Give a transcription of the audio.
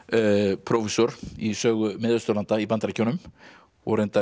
prófessor í sögu Mið Austurlanda í Bandaríkjunum og reyndar